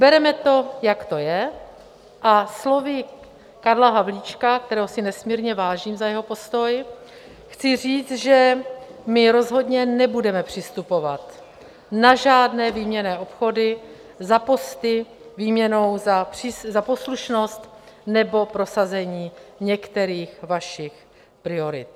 Bereme to jak to je a slovy Karla Havlíčka, kterého si nesmírně vážím za jeho postoj, chci říct, že my rozhodně nebudeme přistupovat na žádné výměnné obchody za posty výměnou za poslušnost nebo prosazení některých vašich priorit.